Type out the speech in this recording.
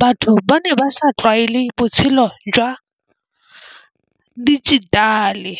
batho ba ne ba sa tlwaele botshelo jwa digit-ale.